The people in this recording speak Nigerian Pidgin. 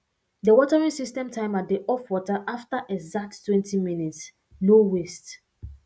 di watering system timer dey off water after exacttwentyminutes no waste